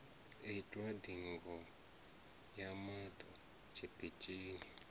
itwa ndigo ya maṱo tshiṱitshini